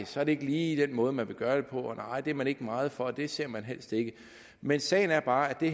så er det ikke lige den måde man vil gøre det nej det er man ikke meget for og det ser man helst ikke men sagen er bare at det